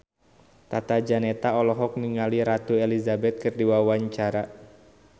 Tata Janeta olohok ningali Ratu Elizabeth keur diwawancara